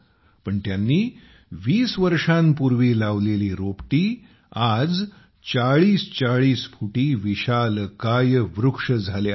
पण त्यांनी 20 वर्षांपूर्वी लावलेली रोपटी आज 4040 फुटी विशालकाय वृक्ष झाले आहेत